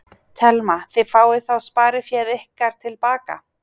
Telma: Þið fáið þá spariféð ykkar til baka?